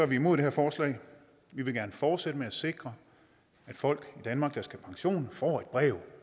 vi imod det her forslag vi vil gerne fortsætte med at sikre at folk i danmark der skal have pension får et brev